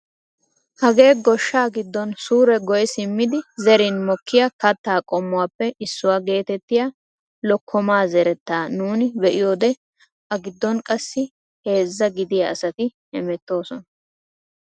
Hagee goshshaa giddon suure goyi simmidi zerin mokkiyaa kaattaa qommuwaappe issuwaa getettiyaa lokkomaa zerettaa nuni be'iyoode a giddon qassi heezzaa gidiyaa asati hemettoosona!